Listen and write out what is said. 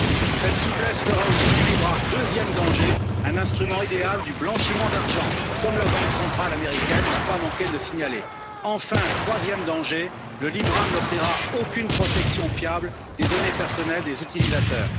Deuxième danger, cette souplesse fera aussi du libra un instrument idéal du blanchiment d'argent, comme la Banque centrale américaine n'a pas manqué de le signaler. Enfin, troisième danger, le libra n'offrira aucune protection fiable des données personnelles des utilisateurs.